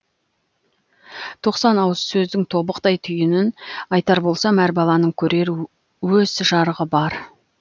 тоқсан ауыз сөздің тобықтай түйінін айтар болсам әр баланың көрер өз жарығы бар